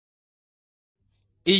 ಈ URLನಲ್ಲಿ ಸಿಗುವ ವಿಡಿಯೋ ಅನ್ನು ನೋಡಿ